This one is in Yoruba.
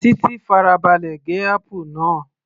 Titi farabalẹ̀ gé apple náà